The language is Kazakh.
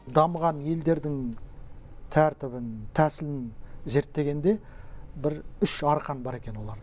дамыған елдердің тәртібін тәсілін зерттегенде бір үш арқан бар екен оларда